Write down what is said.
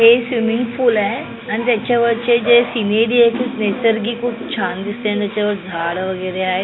इथे swimming pool आहे आणि त्याच्यावरचे जे सिनेरी आहे खूप नैसर्गिक खूप छान दिसतेय आणि त्याच्यावर झाड वगैरे आहेत.